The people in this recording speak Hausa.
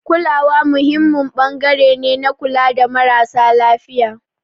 Kulawa muhimmin ɓangare ne na kula da marasa lafiya.